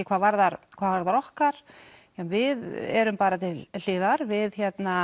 hvað varðar hvað varðar okkar við erum bara til hliðar við